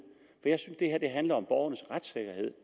i handler om borgernes retssikkerhed